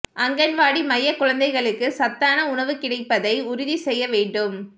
அங்கன்வாடி மைய குழந்தைகளுக்கு சத்தான உணவு கிடைப்பதை உறுதி செய்ய வேண்டும்